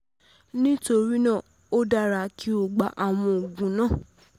Nítorí náà, o dára kí o gba àwọn oògùn ìdìbò pàjáwìrì ìdìbò pàjáwìrì